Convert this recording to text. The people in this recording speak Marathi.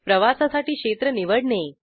प्रवासासाठी क्षेत्र निवडणे